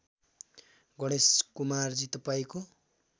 गणेश कुमारजी तपाईँको